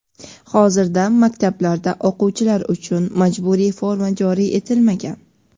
hozirda maktablarda o‘quvchilar uchun majburiy forma joriy etilmagan.